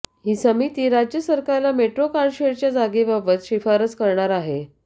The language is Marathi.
ही समिती राज्य सरकारला मेट्रो कारशेडच्या जागेबाबत शिफारस करणार आहे